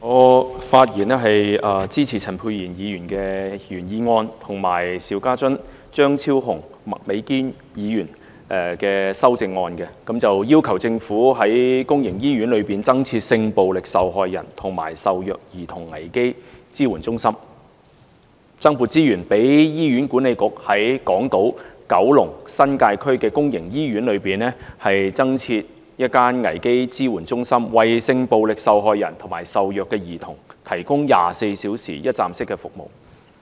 我發言支持陳沛然議員的原議案，以及邵家臻議員、張超雄議員和麥美娟議員的修正案，要求政府在公營醫院內增設性暴力受害人及受虐兒童危機支援中心，增撥資源讓醫院管理局在港島、九龍、新界區的公營醫院內增設一間危機支援中心，為性暴力受害人及受虐兒童提供24小時一站式服務。